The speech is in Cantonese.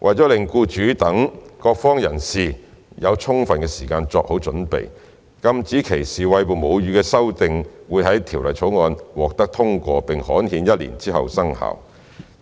為了讓僱主等各方人士有充分時間作好準備，禁止歧視餵哺母乳的修訂會在《條例草案》獲通過並刊憲一年之後生效，